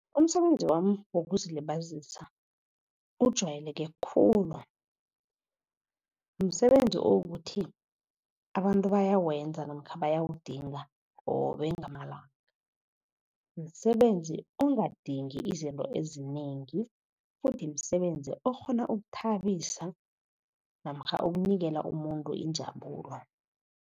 Umsebenzi wami wokuzilibazisa ujayeleke khulu. Msebenzi okukuthi abantu bayawenza namkha bayawudinga qobe ngamalanga. Msebenzi ongadingi izinto ezinengi futhi msebenzi okghona ukuthabisa, namkha ukunikela umuntu injabulo.